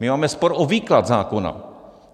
My máme spor o výklad zákona.